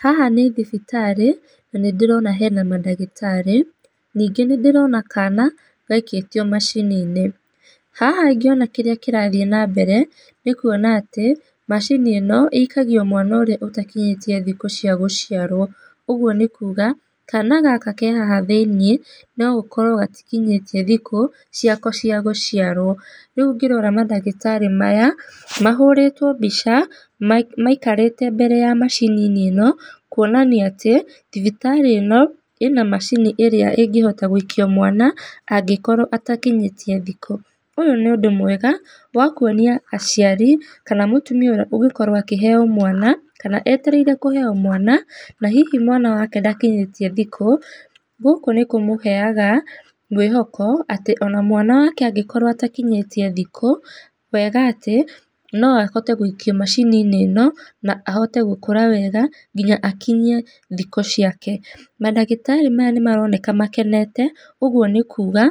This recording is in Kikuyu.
Haha nĩ thibitarĩ na nĩ ndĩrona hena mandagĩtarĩ. Ningĩ nĩ ndĩrona kana gaikĩtio macini-inĩ. Haha ngĩona kĩrĩa kĩrathiĩ na mbere, nĩ kuona atĩ macini ĩno ĩikagio mwana ũrĩa ũtakinyĩtie thikũ cia gũciarwo. Ũguo nĩ kuga kana gaka ke haha thĩinĩ, no gũkorwo gatikinyĩtie thikũ ciako cia gũciarwo. Rĩu ngĩrora mandagĩtarĩ maya mahũrĩtwo mbica maikarĩte mbere ya macini ĩno, kuonania atĩ thibitarĩ ĩno ĩna macini ĩrĩa ĩngĩhoita gũikio mwana angĩkorwo atakinyĩtie thikũ. Ũyũ nĩ ũndũ mwega wa kuonia aciari, kana mũtumia ũrĩa ũngĩkorwo akĩheo mwana, kana etereire kũheo mwana, na hihi mwana wake ndakinyĩtie thikũ, gũkũ nĩ kũmũheaga mwĩhoko atĩ ona mwana wake angĩkorwo atakinyĩtie thikũ, wega atĩ no ahote gũikio macini-inĩ ĩno, na ahote gũkũra wega nginya akinyie thikũ ciake. Mandagitarĩ maya nĩ maroneka makenete ũguo nĩ kuga,